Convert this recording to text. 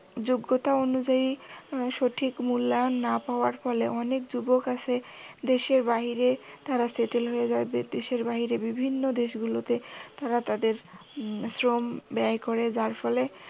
যোগ্যতা অনুযায়ী সঠিক মূল্যায়ন না পাওয়ার ফলে অনেক যুবক আছে দেশের বাইরে তারা settle হয়ে যায়। দেশের বাইরে বিভিন্ন দেশগুলোতে তারা তাদের শ্রম ব্যয় করে যার ফলে